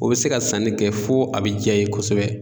O bɛ se ka sanni kɛ fo a bɛ diya i ye kosɛbɛ.